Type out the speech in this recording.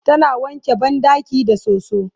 tana wanke banɗakin da soso